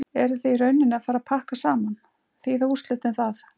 Eruð þið í rauninni að fara pakka saman, þýða úrslitin það?